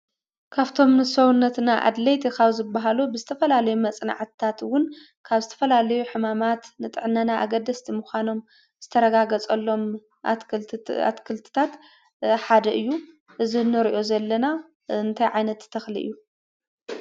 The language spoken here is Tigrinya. ካፍቶም ንሰውነትና ኣድለይቲ ካብ ዝበሃሉ ብዝተፈላለዩ መፅናዕትታት እውን ካብ ዝተፈላለዩ ሕማማት ንጥዕናና ኣገደስቲ ምዃኖም ዝተረጋገፀሎም ኣትክልትታት ሓደ እዩ። እዚ እንሪኦ ዘለና እንታይ ዓይነት ተኽሊ እዩ?